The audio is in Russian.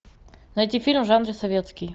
найти фильм в жанре советский